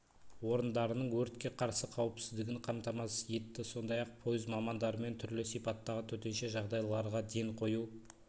орындарының өртке қарсы қауіпсіздігін қамтамасыз етті сондай-ақ пойыз мамандарымен түрлі сипаттағы төтенше жағдайларға ден қою